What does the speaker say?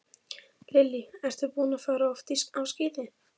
Lillý: Ertu búinn að fara oft á skíði?